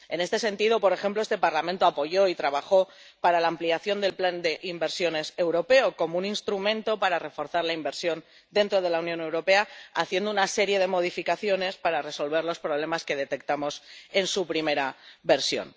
En este sentido, por ejemplo, este Parlamento apoyó y trabajó para la ampliación del plan de inversiones europeo como un instrumento para reforzar la inversión dentro de la Unión Europea, haciendo una serie de modificaciones para resolver los problemas que detectamos en su primera versión.